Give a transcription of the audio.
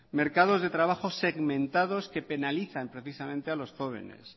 mercados de trabajo segmentados que penalizan precisamente a los jóvenes